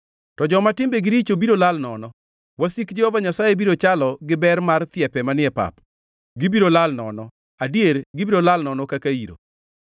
To joma timbegi richo biro lal nono: Wasik Jehova Nyasaye biro chalo gi ber mar thiepe manie pap, gibiro lal nono, adier gibiro lal nono kaka iro.